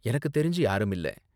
எனக்கு தெரிஞ்சு யாரும் இல்ல.